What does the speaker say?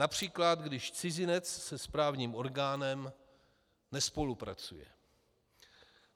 Například když cizinec se správním orgánem nespolupracuje.